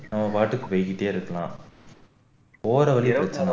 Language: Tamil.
நம்ம பாட்டுக்கு போயிட்டே இருக்கலாம் போற வழியில